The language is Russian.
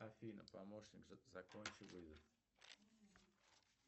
афина помощник закончи вызов